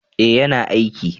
eh ya na aiki